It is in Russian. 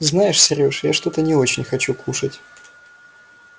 знаешь сереж я что-то не очень хочу кушать